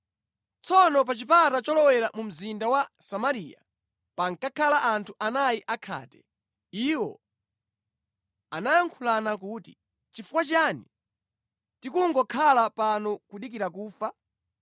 Tsono pa chipata cholowera mu mzinda wa Samariya pankakhala anthu anayi akhate. Iwo anayankhulana kuti, “Chifukwa chiyani tikungokhala pano kudikira kufa?